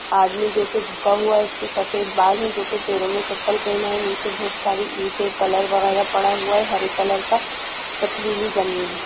आदमी जो की झुका हुआ है| उसके सफ़ेद बाल है जो की पैरों में चप्पल पहना है नीचे बहुत सारी ईंटें कलर वगेरा पडा हुआ है हरे कलर का पथरीली ज़मीन है।